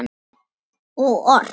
Og ort.